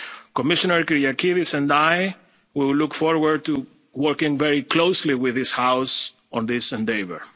challenge. Commissioner Kyriakides and I will look forward to working very closely with this House on this